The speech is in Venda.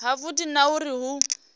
ha vhudi na uri hu